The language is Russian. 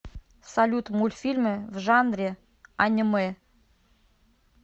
салют мультфильмы в жанре анимэ